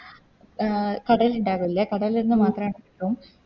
ആ കടലിണ്ടാവില്ല കടല് ന്ന് മാത്രാ